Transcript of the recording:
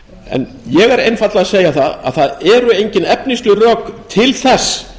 en ég er einfaldlega að segja það að það eru engin efnisleg rök til þess